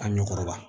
A ɲɔ kɔrɔbaya